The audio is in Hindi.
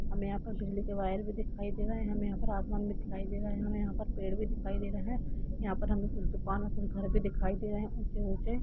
हमे यहाँ पर बिजली के वायर भी दिखाई दे रहे है हमे यहाँ पर आसमान भी दिखाई दे रहा है हमे यहाँ पर पेड़ भी दिखाई दे रहे है यहा पर हमे कुछ दुकान कुछ घर भी दिखाई दे रहे है ऊँचे -ऊँचे--